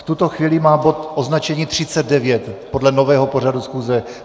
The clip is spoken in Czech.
V tuto chvíli má bod označení 39 podle nového pořadu schůze.